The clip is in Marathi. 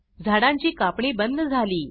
झाडांची कापणी बंद झाली